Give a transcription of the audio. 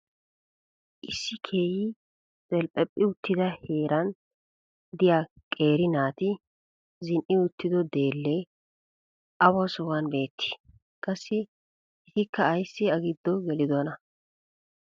issi keehi delphephphi uttida heeran diya qeeri naati zin'i uttido deelee awa sohuwan beettii? qassi etikka ayssi a giddo gelidonaa?